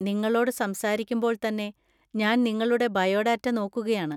നിങ്ങളോട് സംസാരിക്കുമ്പോൾ തന്നെ ഞാൻ നിങ്ങളുടെ ബയോഡാറ്റ നോക്കുകയാണ്.